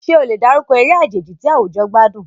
Ṣé o lè dárúkọ eré àjèjì tí àwùjọ gbádùn?